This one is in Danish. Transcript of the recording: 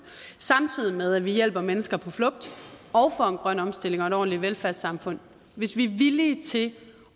samtidig med at vi hjælper mennesker på flugt og får en grøn omstilling og et ordentligt velfærdssamfund hvis vi er villige til